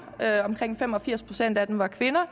omkring fem og firs procent af dem er kvinder